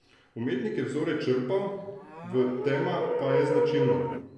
Umetnik je vzore črpal v, tema pa je značilno .